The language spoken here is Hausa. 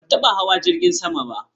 Ban taba hawa jirgin sama ba.